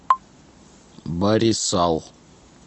барисал